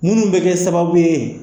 Munnu bɛ kɛ sababu ye.